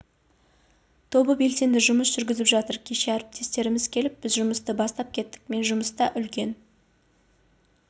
тобы белсенді жұмыс жүргізіп жатыр кеше әріптестеріміз келіп біз жұмысты бастап кеттік мен жұмыста үлкен